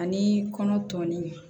Ani kɔnɔ tɔ nunnu